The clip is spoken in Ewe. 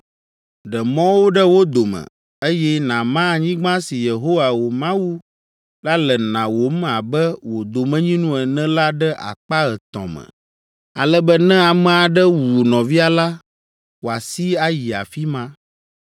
Ɖe mɔwo ɖe wo dome, eye nàma anyigba si Yehowa, wò Mawu la le nawòm abe wò domenyinu ene la ɖe akpa etɔ̃ me, ale be ne ame aɖe wu nɔvia la, wòasi ayi afi ma.